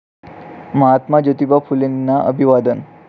महात्मा ज्योतिबा फुलेंना अभिवादन